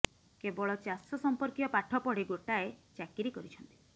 କେବଳ ଚାଷ ସମ୍ପର୍କୀୟ ପାଠ ପଢ଼ି ଗୋଟାଏ ଚାକିରୀ କରିଛନ୍ତି